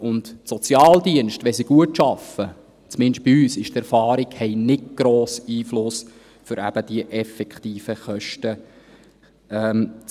Wenn die Sozialdienste gut arbeiten – so zumindest die Erfahrung bei uns –, haben sie keinen grossen Einfluss auf die Verminderung der effektiven Kosten.